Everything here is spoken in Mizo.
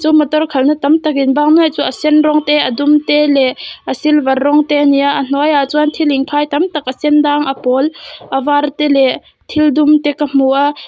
chu motor khalhna tam tak inbang nuai chu a sen rawng te leh a dum te leh a silver rawng te a ni a a hnuaiah chuan thil inkhai tam tak a sendang a pawl a var te leh thil dum te ka hmu a.